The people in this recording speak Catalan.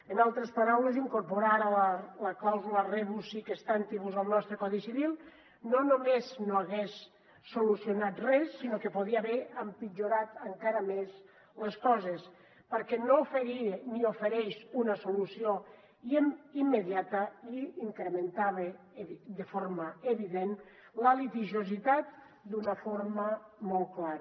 en altres paraules incorporar ara la clàusula rebus sic stantibus al nostre codi civil no només no hagués solucionat res sinó que podria haver empitjorat encara més les coses perquè no oferia ni ofereix una solució immediata i incrementava de forma evident la litigiositat d’una forma molt clara